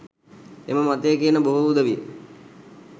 එම මතය කියන බොහෝ උදවිය